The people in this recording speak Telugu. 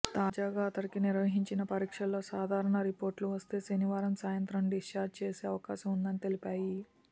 తాజాగా అతడికి నిర్వహించిన పరీక్షల్లో సాధారణ రిపోర్టులు వస్తే శనివారం సాయంత్రం డిశ్ఛార్జి చేసే అవకాశం ఉందని తెలిపాయి